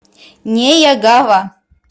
неягава